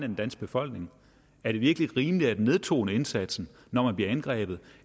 den danske befolkning er det virkelig rimeligt at nedtone indsatsen når man bliver angrebet